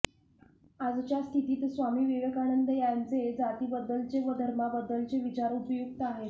आजच्या स्थितीत स्वामी विवेकानंद यांचे जातीबद्दलचे व धर्माबद्दलचे विचार उपयुक्त आहेत